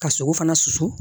Ka sogo fana susu